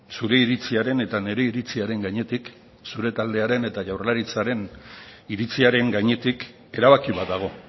zure iritziaren eta nire iritziaren gainetik zure taldearen eta jaurlaritzaren iritziaren gainetik erabaki bat dago